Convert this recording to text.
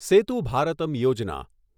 સેતુ ભારતમ યોજના